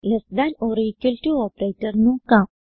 less than or equal to operator നോക്കാം